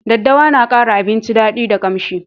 Daddawa na kara abinci dadi da ƙamshi